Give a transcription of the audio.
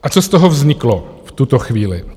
A co z toho vzniklo v tuto chvíli.